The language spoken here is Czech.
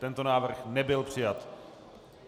Tento návrh nebyl přijat.